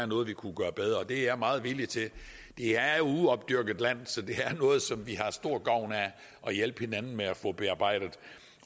noget vi kunne gøre bedre og det er jeg meget villig til det er jo uopdyrket land så det er noget som vi har stor gavn af at hjælpe hinanden med at få bearbejdet